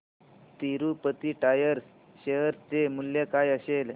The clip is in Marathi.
तिरूपती टायर्स शेअर चे मूल्य काय असेल